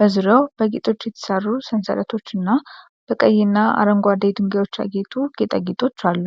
በዙሪያው በጌጦች የተሰሩ ሰንሰለቶችና በቀይና አረንጓዴ ድንጋዮች ያጌጡ ጌጣጌጦች አሉ።